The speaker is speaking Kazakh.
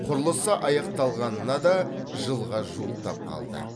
құрылысы аяқталғанына да жылға жуықтап қалды